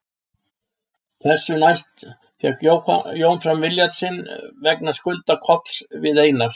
Þessu næst fékk Jón fram vilja sinn vegna skulda Kolls við Einar